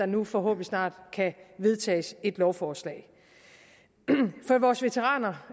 nu forhåbentlig snart kan vedtages et lovforslag for vores veteraner